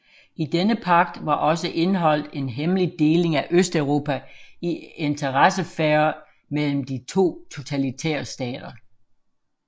I denne pagt var også indeholdt en hemmelig deling af Østeuropa i interessesfærer mellem de to totalitære stater